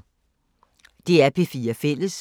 DR P4 Fælles